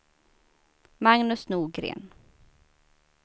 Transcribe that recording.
Magnus Norgren